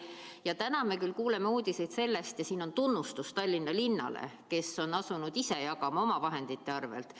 Ja täna me küll kuuleme uudiseid sellest, ja siin on tunnustus Tallinna linnale, kes on asunud ise jagama omavahendite arvelt.